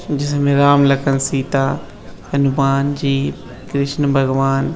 जिसमें राम लखन सीता हनुमान जी कृष्ण भगवान --